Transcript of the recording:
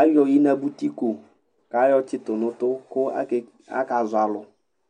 ayɔ ɩnabʊtɩko kayɔ tsɩtʊ nʊtʊ aka zɔ alʊ